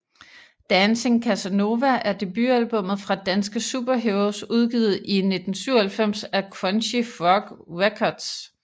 Dancing Casanova er debutalbumet fra danske Superheroes udgivet i 1997 af Crunchy Frog Records